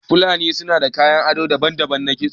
Fulani sunada kayan ado daban na kisto